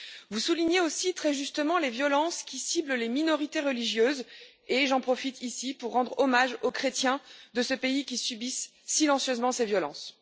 Vous soulignez aussi, très justement, les violences qui ciblent les minorités religieuses, et j'en profite ici pour rendre hommage aux chrétiens de ce pays qui subissent silencieusement ces violences.